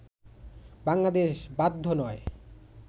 বাংলাদেশ বাধ্য নয়